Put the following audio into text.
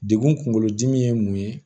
Degun kunkolo dimi ye mun ye